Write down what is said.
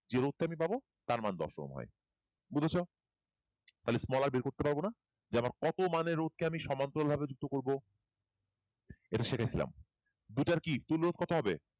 যে রোধ টা আমি তাঁর মান দশ ওহম হয় বুঝছ তাহলে small r বের করতে পারবো না যে আমার কত মানের রোধকে আমি সমান্তরাল ভাবে আমি যুক্ত করবো এটা শিখে নিলাম দুইটার কি তুল্য রোধ কত হবে